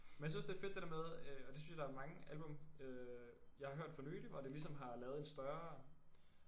Men jeg synes også det er fedt det der med øh og det synes jeg der er mange album øh jeg har hørt for nylig hvor det ligesom har lavet en større